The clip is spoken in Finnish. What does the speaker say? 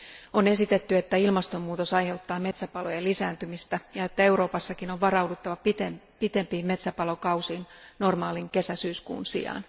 On esitetty, että ilmastonmuutos aiheuttaa metsäpalojen lisääntymistä ja että Euroopassakin on varauduttava pitempiin metsäpalokausiin normaalin kesä syyskuun sijaan.